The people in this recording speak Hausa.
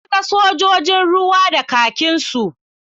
Na ga sojojin ruwa da kakinsu.